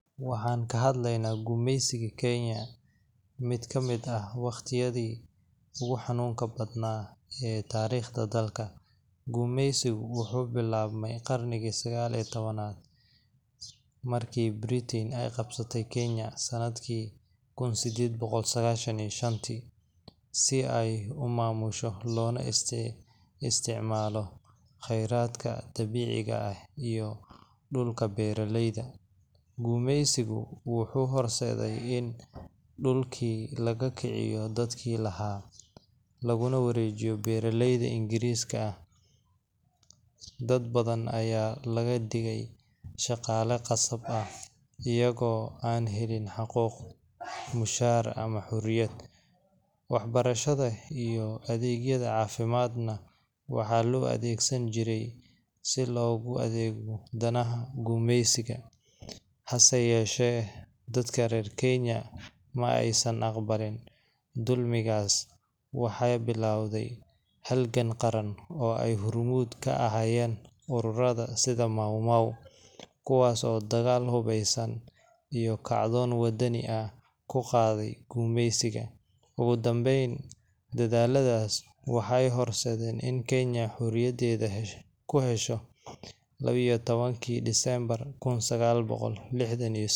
waxaan ka hadleynaa gumaysigii Kenya mid ka mid ah waqtiyadii ugu xanuunka badnaa ee taariikhda dalka. Gumaysigu wuxuu bilaabmay qarnigii 19aad, markii Britain ay qabsatay Kenya sanadkii Kun sddeed boqol sagashan iyo shantii, si ay u maamusho loona isticmaalo kheyraadka dabiiciga ah iyo dhulka beeraleyda. Gumaysigu wuxuu horseeday in dhulkii laga kiciyo dadkii lahaa, laguna wareejiyo beeraleyda Ingiriiska ah. Dad badan ayaa laga dhigay shaqaale qasab ah, iyagoo aan helin xuquuq, mushaar, ama xorriyad. Waxbarashada iyo adeegyada caafimaadna waxaa loo adeegsan jiray si loogu adeego danaha gumeysiga. Hase yeeshee, dadka reer Kenya ma aysan aqbalin dulmigaas. Waxaa bilowday halgan qaran, oo ay hormuud ka ahaayeen ururrada sida Mau Mau, kuwaas oo dagaal hubeysan iyo kacdoon wadani ah ku qaaday gumaysiga. Ugu dambeyn, dadaalladaas waxay horseedeen in Kenya xorriyaddeeda ku hesho lawa iyo tawankii kii December kun sagal boqol lixdan iyo seddax.